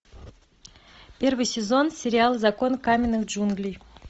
первый сезон сериал закон каменных джунглей